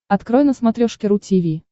открой на смотрешке ру ти ви